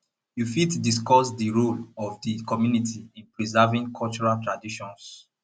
you fit discuss di role of di community in preserving cultural traditions